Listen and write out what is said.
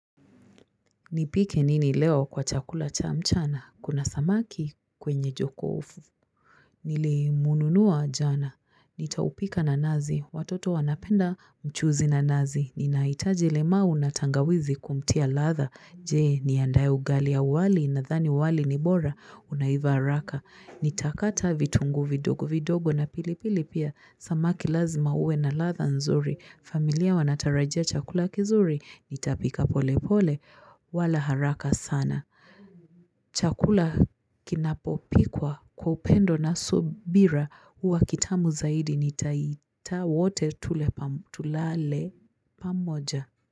Nipike nini leo kwa chakula cha mchana? Kuna samaki kwenye jokofu. Nilimununua jana. Nitaupika na nazi. Watoto wanapenda mchuzi na nazi. Ninahitaji limau na tangawizi kumtia latha. Jee niandae ugali au wali nadhani wali ni bora. Unaiva haraka. Nitakata vitunguu vidogo vidogo na pilipili pia Samaki lazima uwe na latha nzuri familia wanatarajia chakula kizuri Nitapika pole pole wala haraka sana Chakula kinapopikwa kwa upendo na subira huwa kitamu zaidi nitaita wote tulale pamoja.